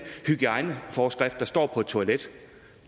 hygiejneforskrift der står på et toilet